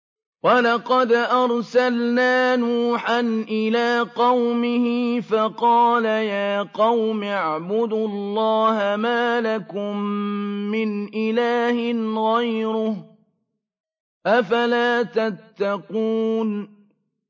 وَلَقَدْ أَرْسَلْنَا نُوحًا إِلَىٰ قَوْمِهِ فَقَالَ يَا قَوْمِ اعْبُدُوا اللَّهَ مَا لَكُم مِّنْ إِلَٰهٍ غَيْرُهُ ۖ أَفَلَا تَتَّقُونَ